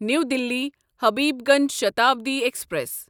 نیو Delhi Habibganj Shatabdi express